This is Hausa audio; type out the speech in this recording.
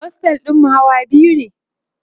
ostel ɗinmu Hawa biyu ne